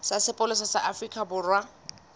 sa sepolesa sa afrika borwa